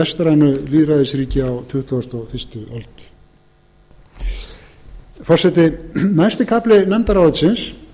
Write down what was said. vestrænu lýðræðisríki á tuttugustu og fyrstu öld forseti næsti kafli nefndarálitsins